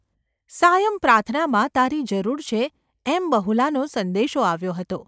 સાયંપ્રાર્થનામાં તારી જરૂર છે એમ બહુલાનો સંદેશો આવ્યો હતો.